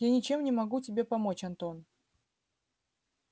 я ничем не могу тебе помочь антон